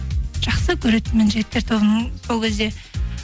жақсы көретінмін жігіттер тобын сол кезде